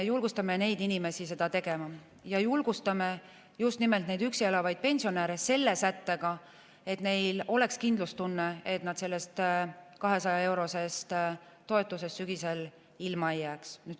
Julgustame neid inimesi seda tegema ja julgustame just nimelt üksi elavaid pensionäre selle sättega, et neil oleks kindlustunne, et nad sellest 200-eurosest toetusest sügisel ilma ei jää.